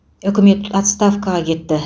үкімет отставкаға кетті